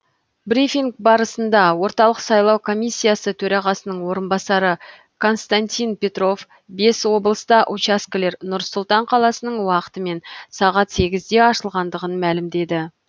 брифинг барысында орталық сайлау комиссиясы төрағасының орынбасары константин петров бес облыста учаскелер нұр сұлтан қаласының уақытымен сағат сегіз нөл нөлде ашылғандығын мәлімдеді